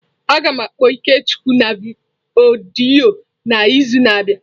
Agam akpọ Ikechukwu na odiyo n'izu na abia.